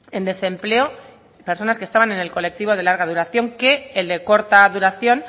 en desempleo personas que estaban en el colectivo de larga duración que el de corta duración